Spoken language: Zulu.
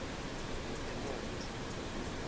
emondlo